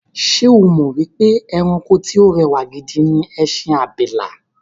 Ṣé o mọ̀ pé ẹranko tí o rẹwà gidi ni ẹṣin abìlà?